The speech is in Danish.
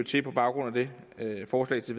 til på baggrund af det forslag til